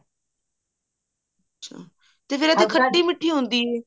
ਅੱਛਾ ਫ਼ੇਰ ਖੱਟੀ ਮਿੱਠੀ ਹੁੰਦੀ ਹੈ